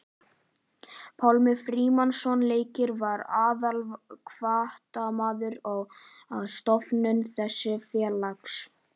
Pálmi Frímannsson læknir var aðalhvatamaður að stofnun þessa félags.